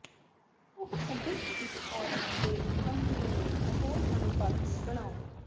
ਉਹ ਅਦਿੱਖ ਇੱਕ ਔਰਤ ਦੇ ਅੰਕੜੇ ਨੂੰ ਹੋਰ ਅਨੁਪਾਤੀ ਬਣਾਉਣ